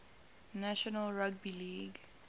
national rugby league